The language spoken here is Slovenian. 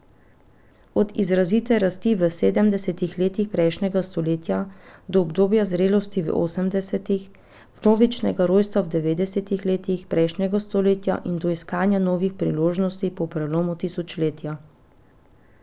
Od izrazite rasti v sedemdesetih letih prejšnjega stoletja, do obdobja zrelosti v osemdesetih, vnovičnega rojstva v devetdesetih letih prejšnjega stoletja in do iskanja novih priložnosti po prelomu tisočletja.